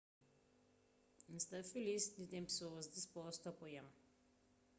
n sta filis di ten pesoas dispostu a apoia-m